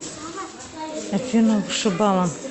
афина вышибала